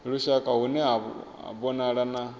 lushaka hune ha vhonala na